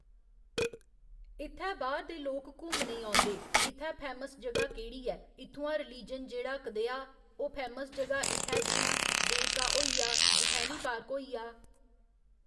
इत्थै बाह्‌र दे लोक घुम्मने ई औंदे इत्थै फैमस जगह् केह्ड़ी ऐ इत्थुआं रिलीजन जेह्ड़ा कदेहा ओह् फैमस जगहा इत्थै जि'यां देवका होई आ जखैनी पार्क होई आ